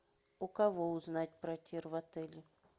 у кого узнать про тир в отеле